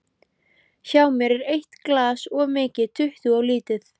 Hjá mér er eitt glas of mikið, tuttugu of lítið.